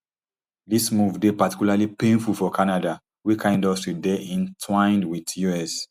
dis move dey particularly painful for canada wey car industry dey entwined wit us